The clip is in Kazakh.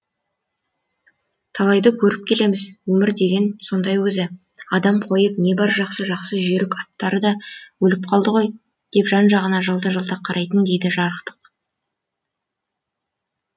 талайды көріп келеміз өмір деген сондай өзі адам қойып не бір жақсы жақсы жүйрік аттары да өліп қалды ғой деп жан жағына жалта жалтақ қарайды дейді жарықтық